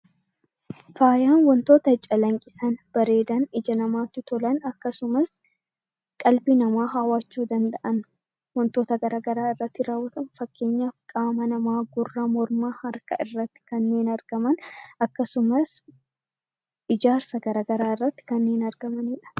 Faayaan waantota calaqqisan, ijatti bareedan, namatti tolan akkasumas kan nama hawwachuu danda'an waantota garaagaraa irraatti kaawwaman fakkeenyaaf qaama namaa gurra, morma, harkaa irratti kanneen argaman akkasumas ijaarsa garaagaraa irratti kanneen argamanidha.